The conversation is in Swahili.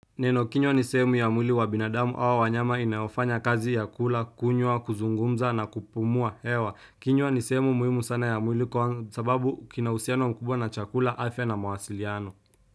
Neno kinywa ni sehemu ya mwili wa binadamu au wanyama inayofanya kazi ya kula, kunywa, kuzungumza na kupumua hewa. Kinywa ni sehemu muhimu sana ya mwili kwa sababu kinauhusiano mkubwa na chakula, afya na mawasiliano.